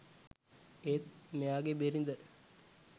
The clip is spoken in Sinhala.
ඒත් මෙයාගේ බිරිද